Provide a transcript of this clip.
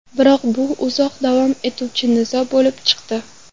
Biroq bu uzoq davom etuvchi nizo bo‘lib chiqdi.